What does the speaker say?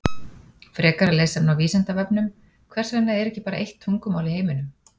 Frekara lesefni á Vísindavefnum Hvers vegna er ekki bara eitt tungumál í heiminum?